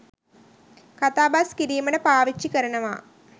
කතා බස් කිරීමට පාවිච්චි කරනවා.